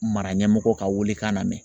Mara ɲɛmɔgɔ ka wele kan namɛn.